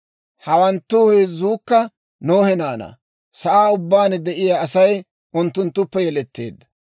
Hawanttu heezzuukka Nohe naanaa; sa'aan ubbaan de'iyaa Asay unttunttuppe yeletteedda.